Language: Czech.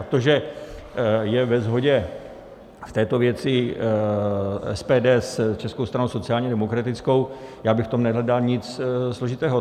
A to, že je ve shodě v této věci SPD s Českou stranou sociálně demokratickou, já bych v tom nehledal nic složitého.